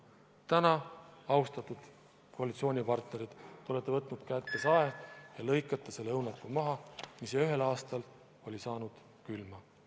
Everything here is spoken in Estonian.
Täna, austatud koalitsioonipartnerid, olete te kätte võtnud sae ja lõikate maha selle õunapuu, mis ühel aastal sai külma.